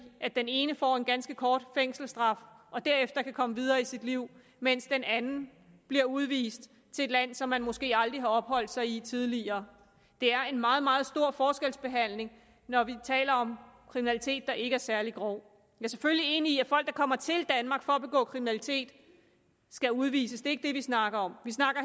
at den ene får en ganske kort fængselsstraf og derefter kan komme videre i sit liv mens den anden bliver udvist til et land som vedkommende måske aldrig har opholdt sig i tidligere det er en meget meget stor forskelsbehandling når vi taler om kriminalitet der ikke er særlig grov jeg er selvfølgelig enig i at folk der kommer til danmark for at begå kriminalitet skal udvises ikke det vi snakker om vi snakker